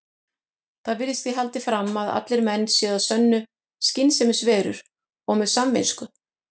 Þar virðist því haldið fram að allir menn séu að sönnu skynsemisverur og með samvisku.